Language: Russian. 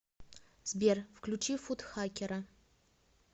сбер включи футхакера